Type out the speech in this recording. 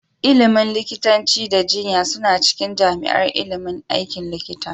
Ilimin likitanci da jinya suna cikin jami'ar ilimin aikin likita